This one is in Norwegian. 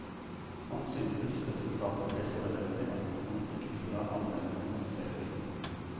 Han syntes resultatet ble så elendig at han ikke ville la anmelderne se filmen.